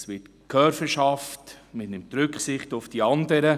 Es wird Gehör verschafft, man nimmt Rücksicht auf die anderen.